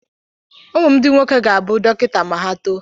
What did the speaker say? Ụmụ m ndị nwoke ga-abụ dọkịta ma ha too.